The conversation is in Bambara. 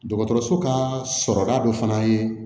Dɔgɔtɔrɔso kaa sɔrɔda dɔ fana ye